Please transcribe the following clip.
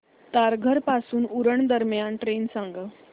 तारघर पासून उरण दरम्यान ट्रेन सांगा